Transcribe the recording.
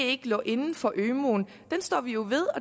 ikke lå inden for ømuen står vi jo ved